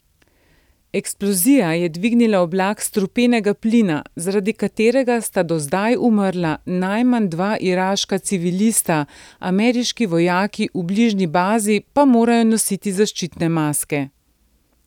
Eksplozija je dvignila oblak strupenega plina, zaradi katerega sta do zdaj umrla najmanj dva iraška civilista, ameriški vojaki v bližnji bazi pa morajo nositi zaščitne maske.